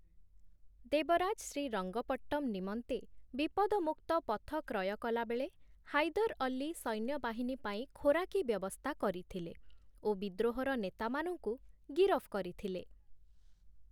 ଦେବରାଜ ଶ୍ରୀରଙ୍ଗପଟ୍ଟମ୍‌ ନିମନ୍ତେ ବିପଦମୁକ୍ତ ପଥ କ୍ରୟ କଲାବେଳେ, ହାଇଦର୍‌ ଅଲ୍ଲୀ ସୈନ୍ୟବାହିନୀ ପାଇଁ ଖୋରାକୀ ବ୍ୟବସ୍ଥା କରିଥିଲେ ଓ ବିଦ୍ରୋହର ନେତାମାନଙ୍କୁ ଗିରଫ କରିଥିଲେ ।